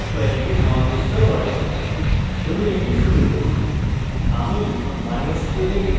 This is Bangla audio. এটি কিছু sql কোড এবং কিছু sql কোয়েরিকে সমাবিষ্ট করে